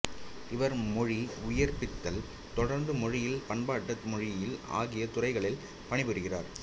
இவர் மொழி உயிர்பித்தல் தொடர்பு மொழியியல் பண்பாட்டு மொழியியல் ஆகிய துறைகளில் பணிபுரிகிறார்